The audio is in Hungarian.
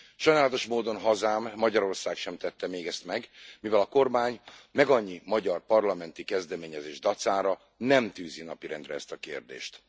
Sajnálatos módon hazám, Magyarország sem tette még ezt meg, mivel a kormány megannyi magyar parlamenti kezdeményezés dacára nem tűzi napirendre ezt a kérdést.